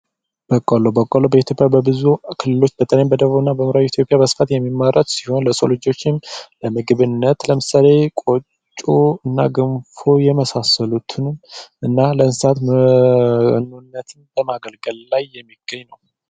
በቆሎ በቆሎ በኢትዮጵያ በብዙ ክልሎች በተለይም በደቡብና በምዕራብ ኢትዮጵያ በስፋት የሚመረት ሲሆን፤ ለሰው ልጆችም ለምግብነት ለምሳሌ ቆጮ፣ ገንፎ የመሳሰሉትን እና ለእንስሳት መኖነት በማገልገል ላይ የሚገኝ ነው።